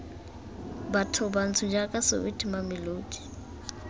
batho bantsho jaaka soweto mamelodi